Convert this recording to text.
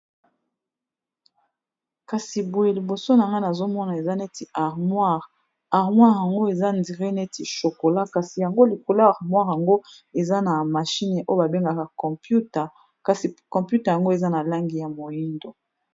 kasi boye liboso na ngani azomona eza neti armoire armoire yango eza ndire neti chokola kasi yango likolo armoire yango eza na mashine oyo babengaka computa kasi computa yango eza na langi ya moindo